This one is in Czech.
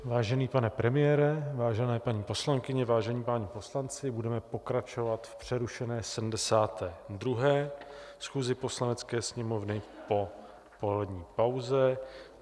Vážený pane premiére, vážené paní poslankyně, vážení páni poslanci, budeme pokračovat v přerušené 72. schůzi Poslanecké sněmovny po polední pauze.